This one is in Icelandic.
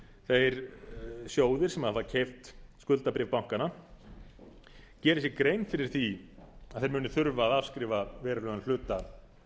þeir sjóðir sem hafa keypt skuldabréf bankanna geri sér grein fyrir því að þeir munu þurfa að afskrifa verulegan hluta